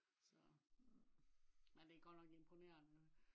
så. men det er godt nok imponerende